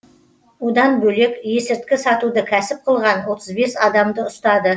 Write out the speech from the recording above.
одан бөлек есірткі сатуды кәсіп қылған отыз бес адамды ұстады